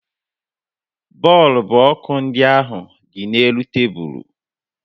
Bọọlbụ ọkụ ndị ahụ dị n'elu tebulu